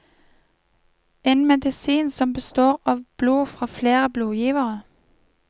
En medisin som består av blod fra flere blodgivere.